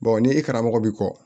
ni i karamɔgɔ bɛ kɔ